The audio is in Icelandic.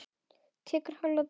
Tekur hálfan dag.